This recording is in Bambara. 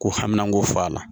Ko haminanko fɔ a la